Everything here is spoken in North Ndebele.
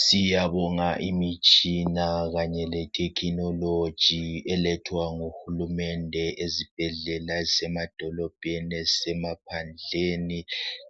siyabonga imitshina kanye le technology elethwa nguhulumende ezibhedlela ezisemadolobheni ezisemaphandleni